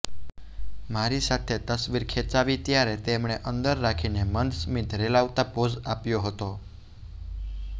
મારી સાથે તસવીર ખેંચાવી ત્યારે તેમણે અંતર રાખીને મંદ સ્મીત રેલાવતા પોઝ આપ્યો હતો